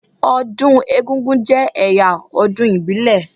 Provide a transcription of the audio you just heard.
Ọdún egúngún jẹ́ ẹ̀yà ọdún ìbílẹ̀.